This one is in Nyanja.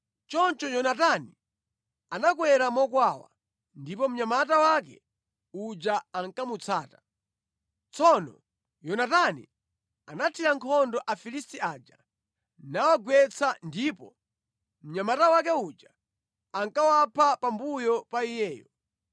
Choncho Yonatani anakwera mokwawa, ndipo mnyamata wake uja ankamutsata. Tsono Yonatani anathira nkhondo Afilisti aja namawagwetsa, ndipo mnyamata wake uja ankawapha pambuyo pa iyeyo.